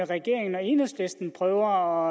regeringen og enhedslisten prøver